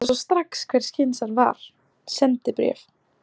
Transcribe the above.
Ég sá strax hvers kyns var: SENDIBRÉF